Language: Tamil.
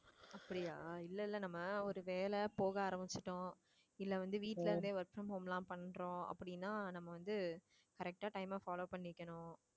அப்படியா இல்லை இல்லை நம்ம ஒரு வேலை போக ஆரம்பிச்சுட்டோம். இல்லை வந்து வீட்டுல இருந்தே work from home எல்லாம் பண்றோம் அப்படின்னா நம்ம வந்து correct ஆ time அ follow பண்ணிக்கணும்